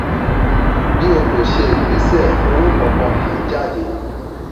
bí o o kò ṣe ìgbésẹ̀ owó kankan kì í jáde.